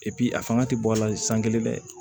a fanga ti bɔ a la san kelen dɛ